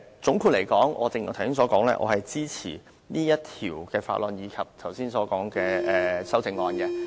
總括來說，正如我剛才所說，我支持此項《條例草案》及剛才所說的修正案。